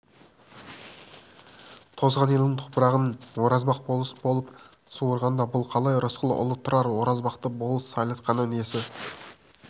тозған елдің топырағын оразбақ болыс болып суырғанда бұл қалай рысқұл ұлы тұрар оразбақты болыс сайлатқаны несі